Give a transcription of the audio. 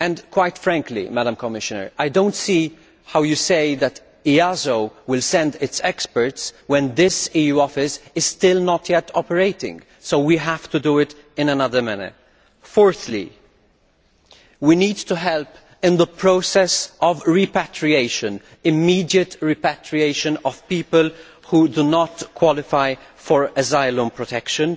Quite frankly, Commissioner, I do not see how you can say that EASO will send its experts when this EU office is still not yet operating, so we will have to do it in another manner. Fourthly, we need to help with the process of repatriation immediate repatriation of people who do not qualify for asylum protection.